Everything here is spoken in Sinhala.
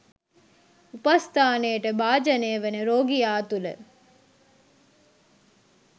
උපස්ථානයට භාජනය වන රෝගියා තුළ